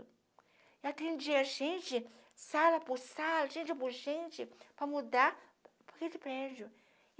E atendia gente, sala por sala, gente por gente, para mudar para aquele prédio.